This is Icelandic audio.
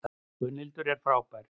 Gunnhildur er frábær.